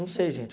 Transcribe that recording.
Não sei, gente.